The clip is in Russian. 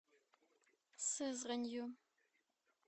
сызранью